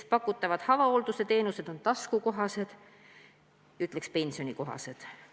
Pakutavad avahoolduse teenused on taskukohased ehk teiste sõnadega pensionikohased.